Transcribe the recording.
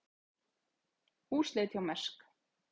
Húsleit hjá Mærsk